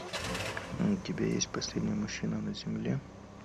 у тебя есть последний мужчина на земле